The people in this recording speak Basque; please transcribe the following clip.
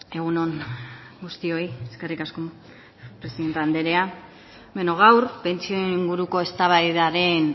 egun on guztioi eskerrik asko presidente andrea beno gaur pentsioen inguruko eztabaida den